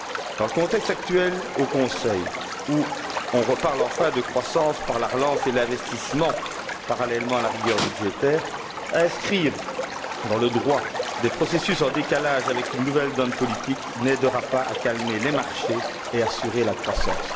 Dans le contexte actuel au Conseil où on reparle enfin de croissance par la relance et l'investissement, parallèlement à la rigueur budgétaire inscrire dans le droit des processus en décalage avec une nouvelle donne politique n'aidera pas à calmer les marchés et à assurer la croissance.